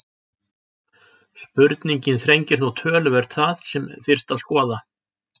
Spurningin þrengir þó töluvert það sem þyrfti að skoða.